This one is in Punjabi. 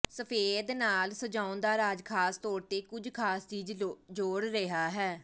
ਸਫੈਦ ਨਾਲ ਸਜਾਉਣ ਦਾ ਰਾਜ਼ ਖਾਸ ਤੌਰ ਤੇ ਕੁਝ ਖ਼ਾਸ ਚੀਜ਼ ਜੋੜ ਰਿਹਾ ਹੈ